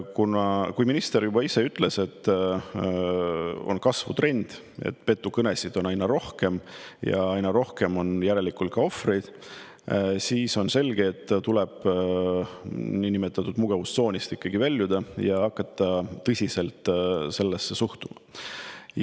Kuna minister ise ütles, et on kasvutrend, petukõnesid on aina rohkem ja aina rohkem on järelikult ka ohvreid, siis on selge, et tuleb niinimetatud mugavustsoonist väljuda ja hakata tõsiselt sellesse suhtuma.